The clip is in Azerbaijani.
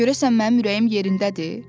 Görəsən mənim ürəyim yerindədir?